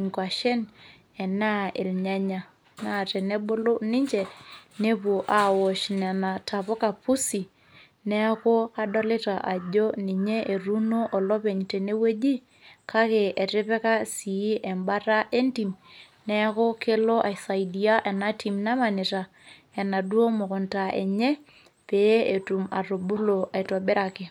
inkwashen neuni irnyanya. naa tenebulu ninche nepuo aaosh nena tapuka pusi. neeku adolita ajo, ninye etuuno olepeny tene wueji kake etipika sii ebata entim. neeku keo aisaidia ena tim namanita ena kunta enye pee etum atubulu aitobiraki.